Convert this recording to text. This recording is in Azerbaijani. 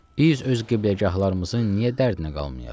Biz öz qibləgahlarımızı niyə dərdinə qalmayaq?